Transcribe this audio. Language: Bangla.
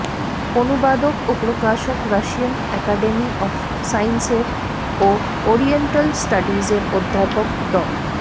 অনুবাদক ও প্রকাশক রাশিয়ান একাডেমি অফ সায়েন্সের ও অরিয়েন্টাল স্টাডিজের অধ্যাপক ড